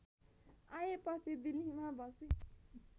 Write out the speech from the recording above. आएपछि दिल्लीमा बसे